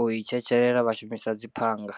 u i tshetshelela vha shumisa dzi phanga.